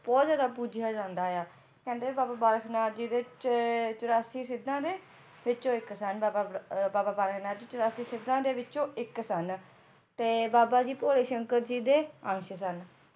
ਬਹੁਤ ਜ਼ਿਆਦਾ ਪੂਜਿਆ ਜਾਂਦਾ ਆ ਕਹਿੰਦੇ ਬਾਬਾ ਬਾਲਕ ਨਾਥ ਜੀ ਦੇ ਚ~ ਚੁਰਾਸੀ ਸਿੱਧਾਂ ਦੇ ਵਿੱਚੋ ਇੱਕ ਸਨ ਬਾਬਾ ਬਾ~ ਬਾਬਾ ਬਾਲਕ ਨਾਥ ਜੀ ਚੁਰਾਸੀ ਸਿੱਧਾਂ ਦੇ ਵਿੱਚੋ ਇੱਕ ਸਨ ਬਾਬਾ ਜੀ ਭੋਲੇ ਸ਼ੰਕਰ ਜੀ ਦੇ ਅੰਸ਼ ਸਨ